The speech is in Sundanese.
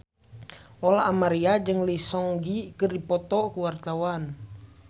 Lola Amaria jeung Lee Seung Gi keur dipoto ku wartawan